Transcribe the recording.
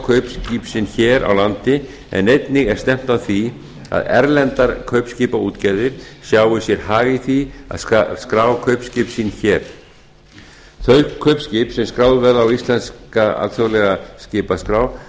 kaupskip sín hér á landi en einnig er stefnt að því að erlendar kaupskipaútgerðir sjái sér hag í því að skrá kaupskip sín hér þau kaupskip sem skráð verða á íslenska alþjóðlega skipaskrá